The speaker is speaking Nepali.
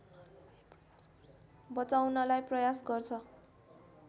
बचाउनलाई प्रयास गर्छ